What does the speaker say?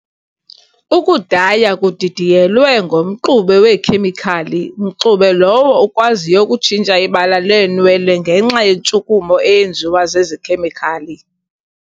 Ukudaya kudidiyelwe ngomxube weekhemikhali mxube lowo ukwaziyo ukutshintsha ibala leenwele ngenxa yentshukumo eyenziwa zezikhemikhali.